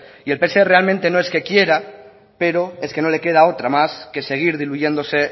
el pse realmente no es que quiera pero es que no lo queda otra más que seguir diluyéndose